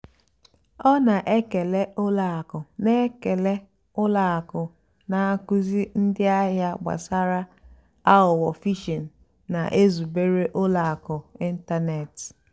ọ́ nà-ékélè ùlọ àkụ́ nà-ékélè ùlọ àkụ́ nà-ákụ́zíì ndí àhìá gbàsàrà àghụ́ghọ́ phìshìng nà-èzùbérè ùlọ àkụ́ n'ị́ntánètị́.